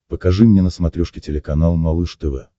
покажи мне на смотрешке телеканал малыш тв